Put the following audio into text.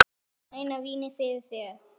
Mæna vínið færir þér.